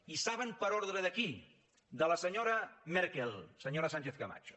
i saben per ordre de qui de la senyora merkel senyora sánchez camacho